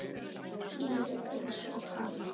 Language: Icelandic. Blíðir einsog hann.